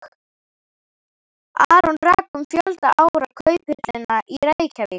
Aron rak um fjölda ára Kauphöllina í Reykjavík.